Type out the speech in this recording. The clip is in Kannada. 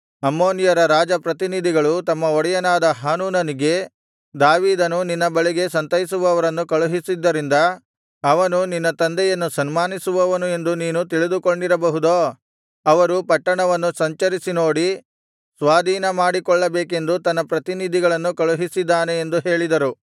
ಅಮ್ಮೋನಿಯರ ರಾಜ ಪ್ರತಿನಿಧಿಗಳು ತಮ್ಮ ಒಡೆಯನಾದ ಹಾನೂನನಿಗೆ ದಾವೀದನು ನಿನ್ನ ಬಳಿಗೆ ಸಂತೈಸುವವರನ್ನು ಕಳುಹಿಸಿದ್ದರಿಂದ ಅವನು ನಿನ್ನ ತಂದೆಯನ್ನು ಸನ್ಮಾನಿಸುವವನು ಎಂದು ನೀನು ತಿಳಿದುಕೊಂಡಿರಬಹುದೋ ಅವರು ಪಟ್ಟಣವನ್ನು ಸಂಚರಿಸಿ ನೋಡಿ ಸ್ವಾಧಿನಮಾಡಿಕೊಳ್ಳಬೇಕೆಂದು ತನ್ನ ಪ್ರತಿನಿಧಿಗಳನ್ನು ಕಳುಹಿಸಿದ್ದಾನೆ ಎಂದು ಹೇಳಿದರು